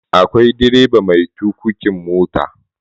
akwai direba mai tukukin mota